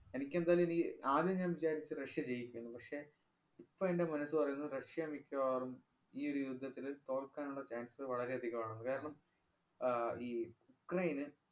എനിക്കെന്തായാലും ഇനി ആദ്യം ഞാന്‍ വിചാരിച്ചു റഷ്യ ജയിക്കുമെന്ന്. പക്ഷേ, ഇപ്പ എന്‍റെ മനസ് പറയുന്നു റഷ്യ മിക്കവാറും ഈയൊരു യുദ്ധത്തില് തോല്‍ക്കാനുള്ള chance വളരെയധികം ആണെന്ന്. കാരണം ആഹ് ഈ ഉക്രയിന്